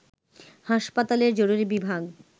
হাসপাতালের জরুরি বিভাগ